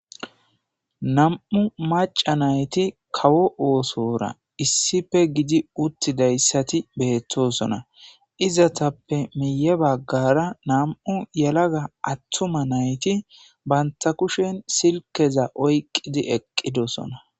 nam7u maca nayti kawo oosora issippe gidi uttidayssati beettosona izatappe miye baggara nam7u yelaga attuma nayti banta kushen silkeza oyqqidi eqqidosona